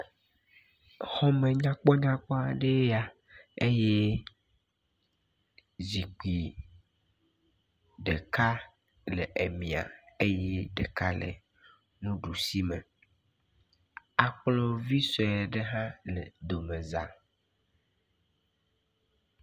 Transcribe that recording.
Xɔme nyakpɔnyakpɔ aɖee ya eye zikpui ɖeka le emia eye ɖeka le nuɖusi me. Akplɔ vi sue ɖe hã le domeza.